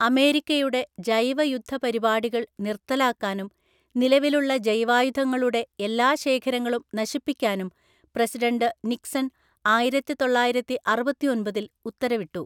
അമേരിക്കയുടെ ജൈവയുദ്ധപരിപാടികള്‍ നിര്‍ത്തലാക്കാനും നിലവിലുള്ള ജൈവായുധങ്ങളുടെ എല്ലാ ശേഖരങ്ങളും നശിപ്പിക്കാനും പ്രസിഡൻ്റ് നിക്‌സൺ ആയിരത്തിതൊള്ളായിരത്തിഅറുപത്തിയൊമ്പതില്‍ ഉത്തരവിട്ടു.